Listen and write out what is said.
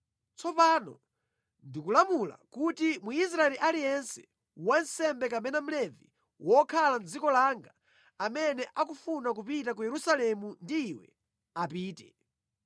Tsopano ndikulamula kuti Mwisraeli aliyense, wansembe kapena Mlevi wokhala mʼdziko langa, amene akufuna kupita ku Yerusalemu ndi iwe, apite.